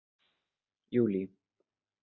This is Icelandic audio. júlí